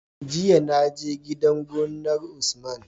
Jiya na je gidan gonar usman